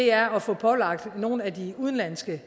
er at få pålagt nogle af de udenlandske